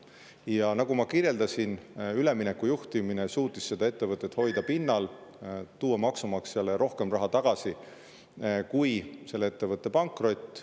Ja nagu ma kirjeldasin, ülemineku juhtimine suutis seda ettevõtet hoida pinnal, tuua maksumaksjale rohkem raha tagasi kui selle ettevõtte pankrot.